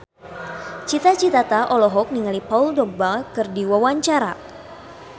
Cita Citata olohok ningali Paul Dogba keur diwawancara